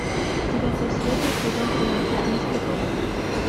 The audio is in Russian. девятая серия сезон тринадцать мистер робот